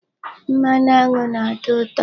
Mmanụ aṅụ na-atọ ụtọ.